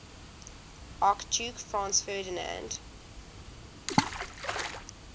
archduke franz ferdinand